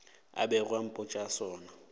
a bego a mpotša sona